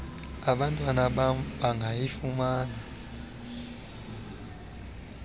abantwana bam bangayifumana